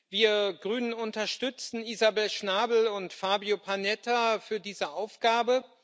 Wir Grünen unterstützen Isabel Schnabel und Fabio Panetta für diese Aufgabe.